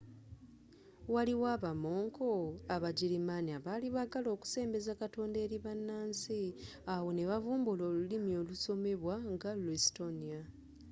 waliwo abamonko abagirimaani abaali baagala okusembeza katonda eri bannansi awo ne bavumbula olulimi olusomebwa nga luestonia